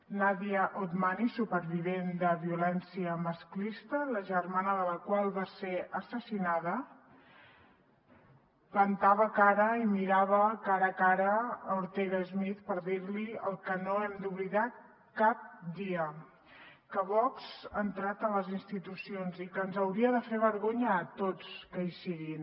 nadia otmani supervivent de violència masclista la germana de la qual va ser assassinada plantava cara i mirava cara a cara a ortega smith per dir li el que no hem d’oblidar cap dia que vox ha entrat a les institucions i que ens hauria de fer vergonya a tots que hi siguin